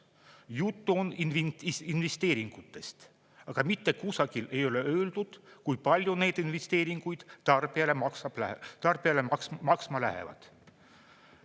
Jutt on investeeringutest, aga mitte kusagil ei ole öeldud, kui palju need investeeringud tarbijale maksma lähevad.